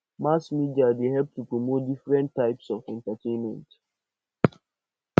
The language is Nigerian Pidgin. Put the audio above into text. mass media dey help to promote diferent types of entertainment